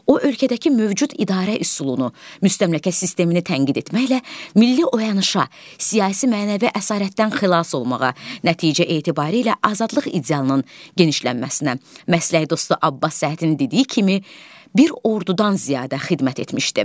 O ölkədəki mövcud idarə üsulunu, müstəmləkə sistemini tənqid etməklə milli oyanışa, siyasi mənəvi əsarətdən xilas olmağa, nəticə etibarilə azadlıq idealının genişlənməsinə məsləkdaşı Abbas Səhhətin dediyi kimi bir ordudan ziyadə xidmət etmişdi.